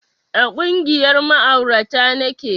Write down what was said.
A ƙungiyar ma'aurata nake